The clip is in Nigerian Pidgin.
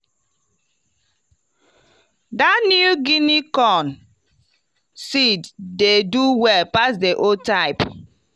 dat new guinea corn seed dey do well pass the old type.